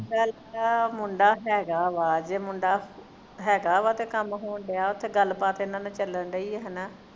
ਗਲ ਆ ਮੁੰਡਾ ਹੈਗਾ ਵਾ ਜੇ ਮੁੰਡਾ ਹੈਗਾ ਵਾ ਤੇ ਕੰਮ ਹੋਣ ਡਿਆ ਓਥੇ ਗੱਲ ਬਾਤ ਇਹਨਾਂ ਦੀ ਚਲਣ ਡਈ ਹੈ ਨਾ